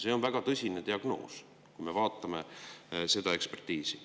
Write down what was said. See on väga tõsine diagnoos, vaadates seda ekspertiisi.